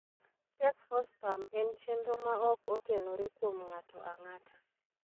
Check4Spam en chenro ma ok otenore kuom ng'ato ang'ata.